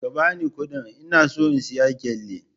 Ka ba ni kuɗin, ina so in saya gele!